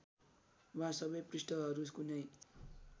वा सबै पृष्ठहरू कुनै